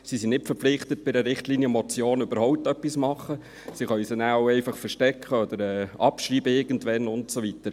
Er ist nicht verpflichtet, bei einer Richtlinienmotion überhaupt etwas zu tun, er kann diese auch verstecken und irgendwann abschreiben und so weiter.